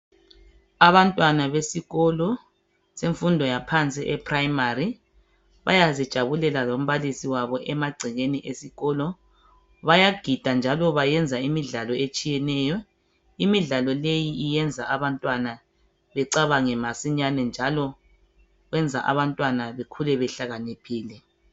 Abantwana besikolo semfundo yaphansi e primary bayazijabulela lombalisi wabo emagcekeni esikolo. Bayagida njalo bayenza imidlalo etshiyeneyo, imidlalo leyi iyenza abantwana becabange masinyane njalo enza abantwana bekhule behlakaniphile.